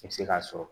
I bɛ se k'a sɔrɔ